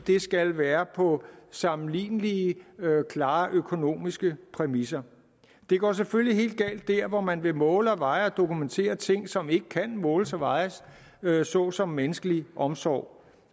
skal være på sammenlignelige klare økonomiske præmisser det går selvfølgelig helt galt dér hvor man vil måle og veje og dokumentere ting som ikke kan måles og vejes såsom menneskelig omsorg